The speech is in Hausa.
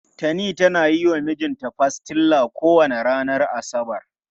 Tani tana yi wa mijinta pastilla kowane ranar asabar.